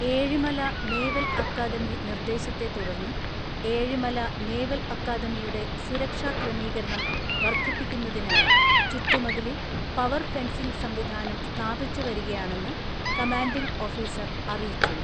Ezhimala naval academy നിർദ്ദേശത്തെ തുടർന്ന് Ezhimala naval അക്കാദമിയുടെ സുരക്ഷാക്രമീകരണം വർധിപ്പിക്കുന്നതിനായി ചുറ്റുമതിലിൽ പവർഫെൻസിംഗ് സംവിധാനം സ്ഥാപിച്ചുവരികയാണെന്ന് കമാന്റിങ്ങ് ഓഫീസർ അറിയിച്ചു.